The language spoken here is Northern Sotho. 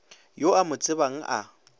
yo o mo tsebang a